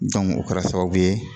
o kɛra sababu ye